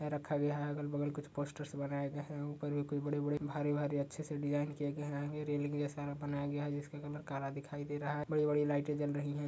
रखा गया है अगल-बगल कुछ पोस्टर्स बनाए गए हैं। ऊपर भी कोई बड़ी-बड़ी भारी-भारी अच्छे से डिज़ाइन किए गए हैंगे। रेलिंग जैसा बनाया गया है जिसका कलर काला दिखाई दे रहा है। बड़ी-बड़ी लाइटे जल रही हैं।